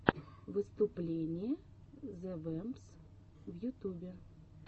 выступление зе вэмпс в ютубе